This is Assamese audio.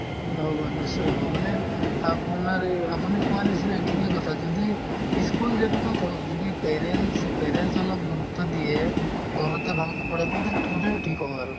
নহ'ব নিশ্চয় হ'ব মানে আপোনাৰ এই আপুনি কোৱাৰ নিচিনাই ঠিকে কৈছে যদি ই school যেহেতোতো যদি parents parents অলপ গুৰুত্ৱ দিয়ে ঘৰতে ভালকে পঢ়াই তেতিয়া গোটেইতো ঠিক হ'ব আৰু